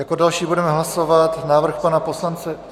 Jako další budeme hlasovat návrh pana poslance...